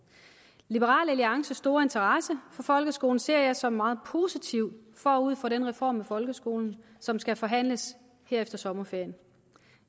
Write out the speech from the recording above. liberal alliances store interesse for folkeskolen ser jeg som noget meget positivt forud for den reform af folkeskolen som skal forhandles her efter sommerferien